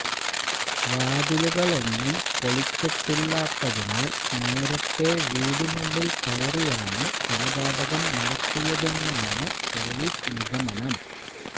വാതിലുകളൊന്നും പൊളിച്ചിട്ടില്ലാത്തതിനാൽ നേരത്തെ വീട്ടിനുള്ളിൽ കയറിയാണ് കൊലപാതകം നടത്തിയതെന്നാണ് പൊലീസ് നിഗമനം